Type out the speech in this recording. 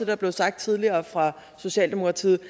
der blev sagt tidligere fra socialdemokratiets